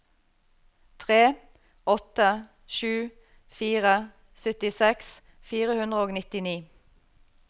tre åtte sju fire syttiseks fire hundre og nittini